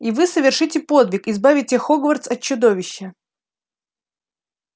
и вы совершите подвиг избавите хогвартс от чудовища